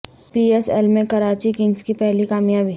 پی S L میں Karachi Kings کی پہلی کامیابی